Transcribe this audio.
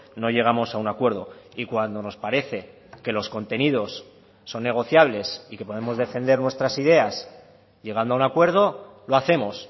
no llegamos a un acuerdo y cuando nos parece que los contenidos son negociables y que podemos defender nuestras ideas llegando a un acuerdo lo hacemos